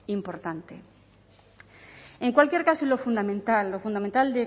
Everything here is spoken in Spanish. importante en cualquier caso y lo fundamental lo fundamental